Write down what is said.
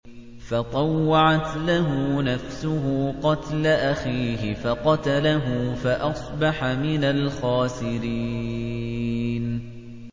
فَطَوَّعَتْ لَهُ نَفْسُهُ قَتْلَ أَخِيهِ فَقَتَلَهُ فَأَصْبَحَ مِنَ الْخَاسِرِينَ